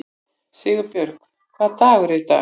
Sigurbjörg, hvaða dagur er í dag?